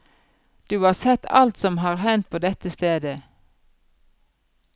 Du har sett alt som har hendt på dette stedet.